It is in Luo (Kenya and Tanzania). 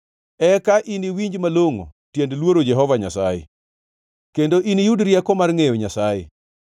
eka iniwinj malongʼo tiend luoro Jehova Nyasaye, kendo iniyud rieko mar ngʼeyo Nyasaye.